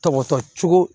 Tɔgɔ cogo